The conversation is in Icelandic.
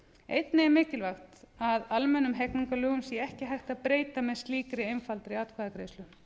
einnig er mikilvægt að almennum hegningarlögum sé ekki hægt að breyta með slíkri einfaldri atkvæðagreiðslu